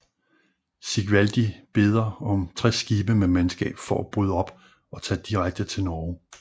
Sigvaldi beder om 60 skibe med mandskab for at bryde op og tage direkte til Norge